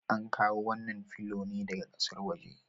An kawo wannan filo ne daga ƙasar waje.